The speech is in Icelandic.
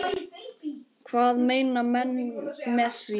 Hvað meina menn með því?